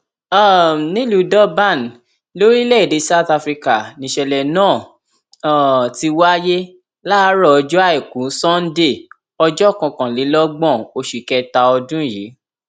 um nílùú durban lórílẹèdè south africa nìṣẹlẹ náà um ti wáyé láàárọ ọjọ àìkú sannde ọjọ kọkànlélọgbọn oṣù kẹta ọdún yìí